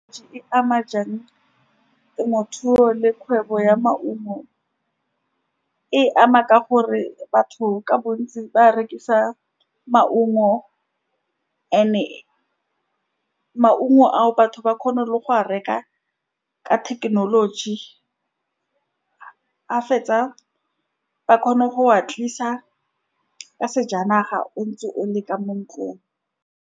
Di ama jang temothuo le kgwebo ya maungo, e ama ka gore batho ka bontsi ba rekisa maungo, and-e maungo ao, batho ba kgona le go a reka ka thekenoloji, ba fetsa, ba kgona go wa tlisa ka sejanaga, o ntse o le ka mo ntlong.